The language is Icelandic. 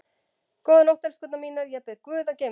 Góða nótt, elskurnar mínar, ég bið guð að geyma ykkur.